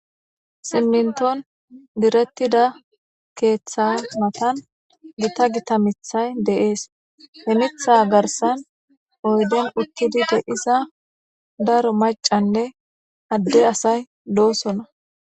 Simminton direttida keeththa matan gita gita mithay deees hemitha garsan oydon uttidide iza daro macanne adde asay loosona.